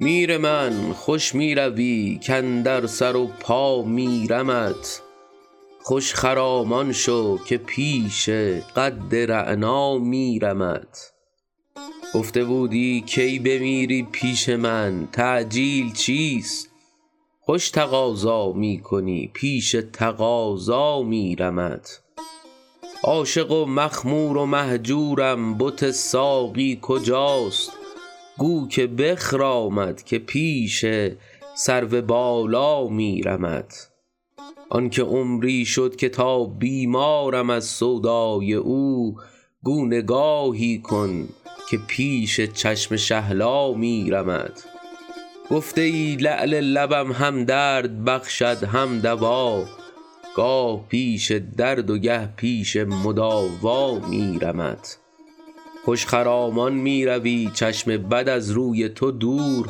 میر من خوش می روی کاندر سر و پا میرمت خوش خرامان شو که پیش قد رعنا میرمت گفته بودی کی بمیری پیش من تعجیل چیست خوش تقاضا می کنی پیش تقاضا میرمت عاشق و مخمور و مهجورم بت ساقی کجاست گو که بخرامد که پیش سرو بالا میرمت آن که عمری شد که تا بیمارم از سودای او گو نگاهی کن که پیش چشم شهلا میرمت گفته ای لعل لبم هم درد بخشد هم دوا گاه پیش درد و گه پیش مداوا میرمت خوش خرامان می روی چشم بد از روی تو دور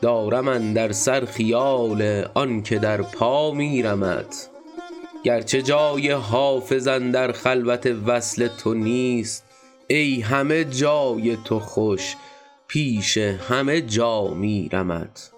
دارم اندر سر خیال آن که در پا میرمت گرچه جای حافظ اندر خلوت وصل تو نیست ای همه جای تو خوش پیش همه جا میرمت